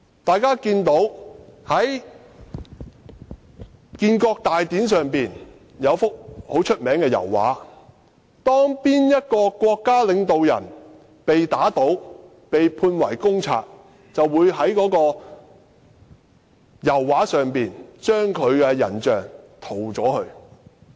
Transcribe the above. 大家從一幅名為"開國大典"的著名油畫可以看到，當某位國家領導人被打倒或被判為公賊，他的人像便會被人從油畫中塗走。